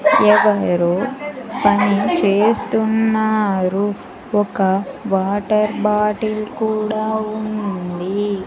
ఎవరో పని చేస్తున్నారు ఒక వాటర్ బాటిల్ కూడా ఉంది.